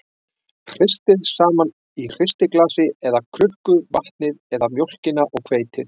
Hristið saman í hristiglasi eða krukku vatnið eða mjólkina og hveitið.